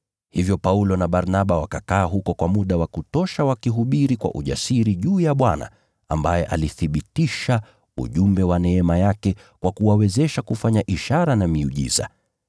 Hivyo Paulo na Barnaba wakakaa huko kwa muda wa kutosha wakihubiri kwa ujasiri juu ya Bwana, ambaye alithibitisha ujumbe wa neema yake kwa kuwawezesha kufanya ishara na miujiza.